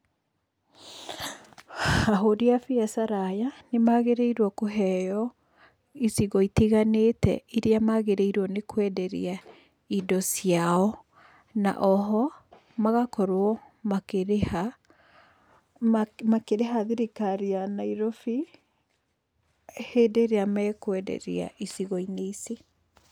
Ahũri a biacara aya, nĩ magĩrĩirwo kũheyo icigo itiganĩte iria magĩrĩirwo nĩ kwenderia indo ciao na oho magakorwo makĩrĩha, makĩriha thirikari ya Nairobi, hĩndĩ ĩrĩa mekwenderia icigo-inĩ ici.